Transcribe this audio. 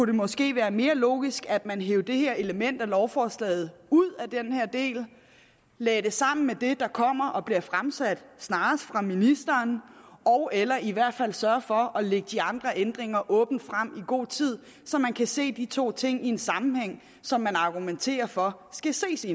det måske være mere logisk at man hev det her element af lovforslaget ud af den her del lagde det sammen med det der kommer og bliver fremsat snarest af ministeren ogeller i hvert fald sørgede for at lægge de andre ændringer åbent frem i god tid så man kunne se de to ting i en sammenhæng som man argumenterer for skal ses i